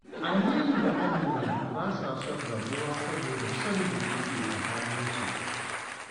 Aminu da Amina ba sa son rabuwa saboda son da yake tsakaninsu.